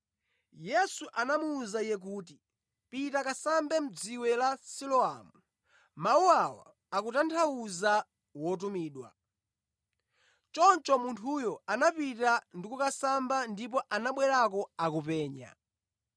Yesu anamuwuza iye kuti, “Pita kasambe mʼdziwe la Siloamu” (mawu awa akutanthauza Wotumidwa). Choncho munthuyo anapita ndi kukasamba ndipo anabwerako akupenya.